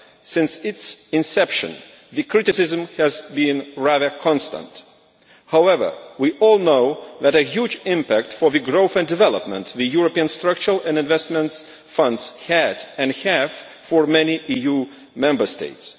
Since its inception, the criticism has been rather constant. However, we all know what a huge impact for growth and development the European Structural and Investment Funds had and have for many EU Member States.